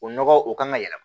O nɔgɔ o kan ka yɛlɛma